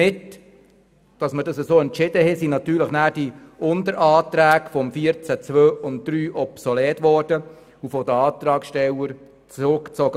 Mit dieser Entscheidung wurden nachher natürlich die Unteranträge zu Artikel 14 Absatz 2 und 3 obsolet und von den Antragsstellern zurückgezogen.